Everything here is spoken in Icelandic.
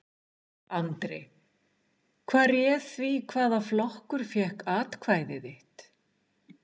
Andri: Hvað réð því hvaða flokkur fékk atkvæði þitt?